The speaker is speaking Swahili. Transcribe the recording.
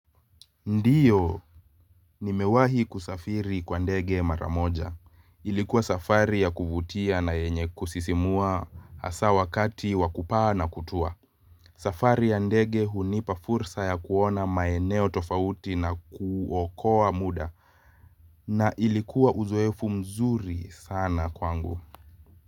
Ndiyo, nimewahi kusafiri kwa ndege maramoja. Ilikuwa safari ya kuvutia na yenye kusisimua asa wakati wakupaa na kutua. Safari ya ndege hunipa fursa ya kuona maeneo tofauti na kuokoa muda. Na ilikua uzoefu mzuri sana kwangu.